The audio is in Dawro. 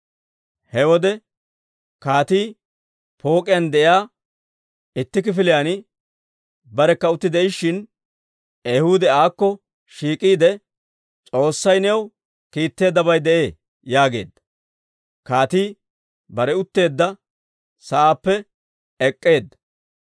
He wode kaatii pook'iyaan de'iyaa itti kifiliyaan barekka utti de'ishin, Ehuudi aakko shiik'iide, «S'oossay new kiitteeddabay de'ee» yaageedda. Kaatii bare utteedda sa'aappe ek'k'eedda;